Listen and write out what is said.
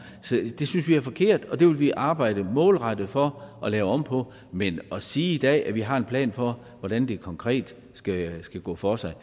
det synes vi er forkert og det vil vi arbejde målrettet for at lave om på men at sige i dag at vi har en plan for hvordan det konkret skal skal gå for sig er